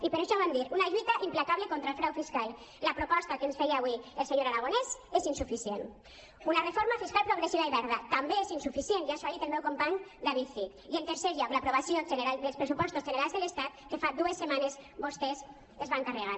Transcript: i per això vam dir una lluita implacable contra el frau fiscal la proposta que ens feia avui el senyor aragonès és insuficient una reforma fiscal progressiva i verda també és insuficient ja els ho ha dit el meu company david cid i en tercer lloc l’aprovació dels pressupostos generals de l’estat que fa dues setmanes vostès es van carregar